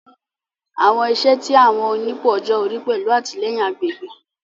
Awọn iṣẹ ti awọn onipò ọjọ ori pẹlu atilẹyin agbegbe